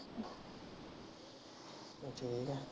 ਚੰਗਾ